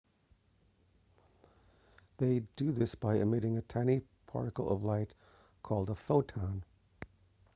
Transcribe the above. they do this by emitting a tiny particle of light called a photon